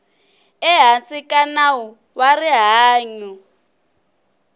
ehansi ka nawu wa rihanyu